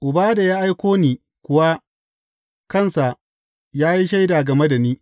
Uba da ya aiko ni kuwa kansa ya yi shaida game da ni.